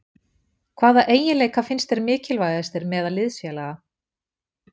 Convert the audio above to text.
Hvaða eiginleika finnst þér mikilvægastir meðal liðsfélaga?